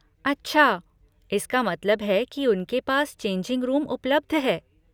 अच्छा, इसका मतलब है कि उनके पास चेंजिंग रूम उपलब्ध है।